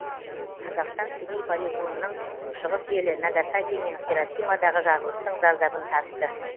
қазақстан семей полигонының күншығыс елі нагасаки мен хиросимадағы жарылыстың зардабын тартты